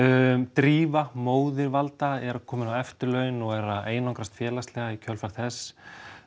Drífa móðir valda er komin á eftirlaun og er að einangrast félagslega í kjölfar þess